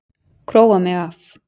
Króa mig af.